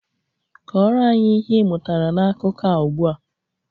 Kọrọ anyị ihe ị mụtara na akụkọ a ugbu a!